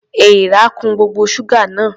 Èèrà kun gbogbo ṣúgà náà.